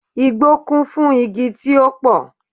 Igbó kún fún igi tí ó pò